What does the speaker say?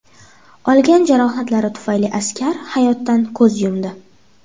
Olgan jarohatlari tufayli askar hayotdan ko‘z yumdi.